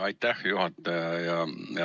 Aitäh, hea juhataja!